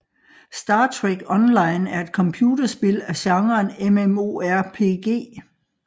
Star Trek Online er et computerspil af genren MMORPG